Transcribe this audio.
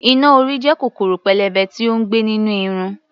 Iná-orí jẹ́ kòkòrò pélébé tí ó ń gbé nínú irun.